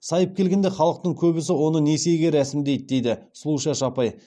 сайып келгенде халықтың көбісі оны несиеге рәсімдейді дейді сұлушаш апай